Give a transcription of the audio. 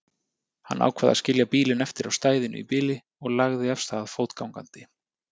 Hann ákvað að skilja bílinn eftir á stæðinu í bili og lagði af stað fótgangandi.